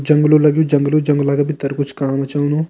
जंगलो लग्युं जंगलो जंगला के भीतर कुछ काम चलणु।